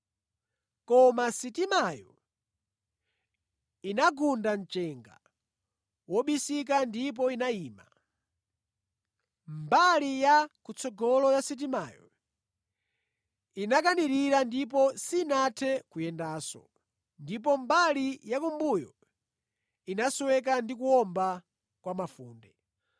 Koma sitimayo inagunda mchenga wobisika ndipo inayima. Mbali ya kutsogolo ya sitimayo inakanirira ndipo sinathe kuyendanso, ndipo mbali yakumbuyo inasweka ndi kuwomba kwa mafunde.